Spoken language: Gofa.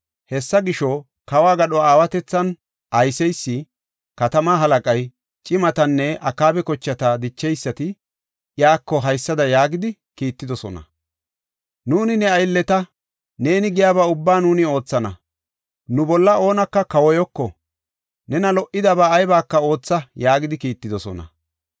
Hessa gisho, kawo gadho aawatethan ayseysi, katama halaqay, cimatinne Akaaba kochata dicheysati, Iyyuko haysada yaagidi kiittidosona; “Nuuni ne aylleta; neeni giyaba ubbaa nuuni oothana. Nu bolla oonaka kawoyoko. Nena lo77idaba aybaka ootha” yaagidi kiittidosona.